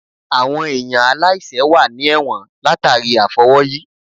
Àwọn èèyàn aláìsẹ̀ wà ní ẹ̀wọ̀n látàríi àfọwọ́yí